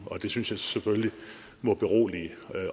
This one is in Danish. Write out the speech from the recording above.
det synes jeg selvfølgelig må berolige